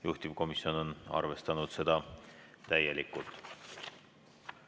Juhtivkomisjon on arvestanud seda täielikult.